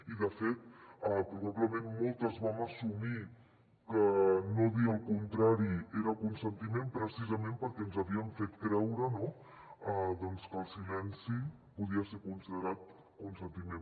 i de fet probablement moltes vam assumir que no dir el contrari era consentiment precisament perquè ens havien fet creure que el silenci podia ser considerat consentiment